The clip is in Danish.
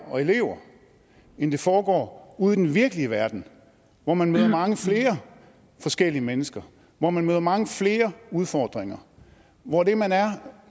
og elever end det foregår ude i den virkelige verden hvor man møder mange flere forskellige mennesker hvor man møder mange flere udfordringer hvor det man er